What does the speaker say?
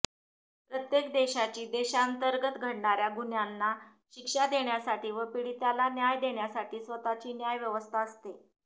प्रत्येक देशाची देशांतर्गत घडणाऱ्या गुन्ह्यांना शिक्षा देण्यासाठी व पीडिताला न्याय देण्यासाठी स्वतःची न्याय व्यवस्था असते